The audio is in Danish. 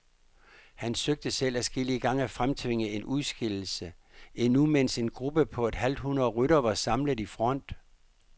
Han søgte selv adskillige gange at fremtvinge en udskillelse, endnu mens en gruppe på et halvt hundrede ryttere var samlet i front.